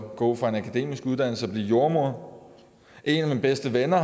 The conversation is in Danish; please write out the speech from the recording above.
gå fra en akademisk uddannelse og så blive jordemoder en af mine bedste venner